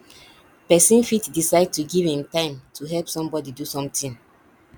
persin fit decide to give im time to help somebody do something